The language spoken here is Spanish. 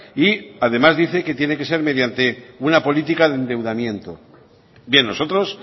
y además dice que tiene que ser mediante una política de endeudamiento bien nosotros